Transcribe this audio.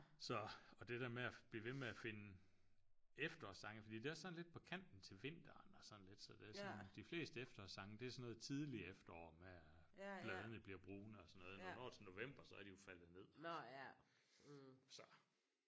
Så og det der med at blive ved med at finde efterårssange fordi det er også sådan lidt på kanten til vinteren og sådan lidt så det er sådan de fleste efterårssange det er sådan noget tidligt efterår med at bladene bliver brune og sådan noget når vi når til november så er de jo faldet ned så